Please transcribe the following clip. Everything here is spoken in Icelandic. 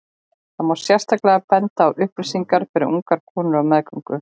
Þar má sérstaklega benda á upplýsingar fyrir ungar konur á meðgöngu.